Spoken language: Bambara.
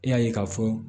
E y'a ye k'a fɔ